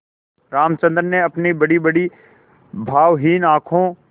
रामचंद्र ने अपनी बड़ीबड़ी भावहीन आँखों